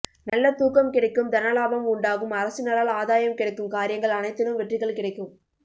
நல்ல தூக்கம் கிடைக்கும் தனலாபம் உண்டாகும் அரசினரால் ஆதாயம் கிடைக்கும் காரியங்கள் அனைத்திலும் வெற்றிகள் கிடைக்கும்